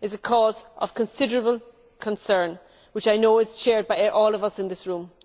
is a cause of considerable concern, which I know is shared by all of us in this room.